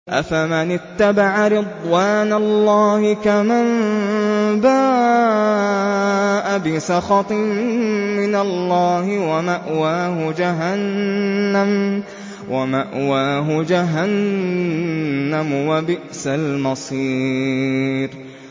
أَفَمَنِ اتَّبَعَ رِضْوَانَ اللَّهِ كَمَن بَاءَ بِسَخَطٍ مِّنَ اللَّهِ وَمَأْوَاهُ جَهَنَّمُ ۚ وَبِئْسَ الْمَصِيرُ